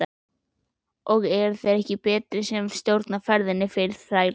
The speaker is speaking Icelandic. Og ekki eru þeir betri sem stjórna ferðinni fyrir þrælana.